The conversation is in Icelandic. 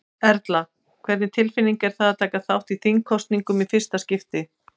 Erla: Hvernig tilfinning er það að taka þátt í þingkosningum í fyrsta skipti?